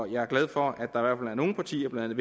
jeg er glad for at der var nogle partier blandt